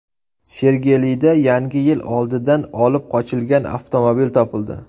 Sergelida Yangi yil oldidan olib qochilgan avtomobil topildi.